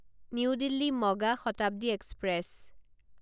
new Delhi মগা Shatabdi express